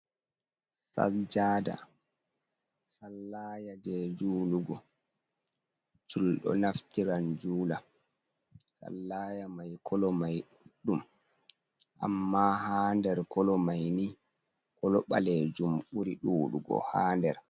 Sajjaada, sallaaya jee juulugo. Julɗo naftiran juula, sallaa mai kolo mai ɗuɗɗum. Ammaa haa nder kolo mai ni, kolo ɓaleejum ɓuri ɗuuɗugo haa nder.